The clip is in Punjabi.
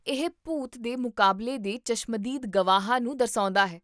ਇਹ ਭੂਤ ਦੇ ਮੁਕਾਬਲੇ ਦੇ ਚਸ਼ਮਦੀਦ ਗਵਾਹਾਂ ਨੂੰ ਦਰਸਾਉਂਦਾ ਹੈ